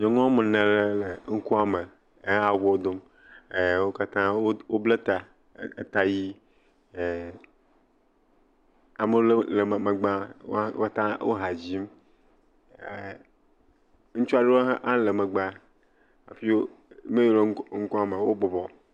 Nyɔnu wɔme ne aqɖe le ŋkua me he awuwo dome. Wo katã woble ta. Eta ʋi. E ame lewo le me megbe wo wota wo ha dzim. E ŋutsu aɖewo hã le megbe hafi meyio le ŋkua me wo bɔbɔ.